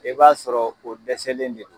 I b'a sɔrɔ o dɛsɛlen de